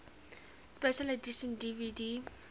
special edition dvd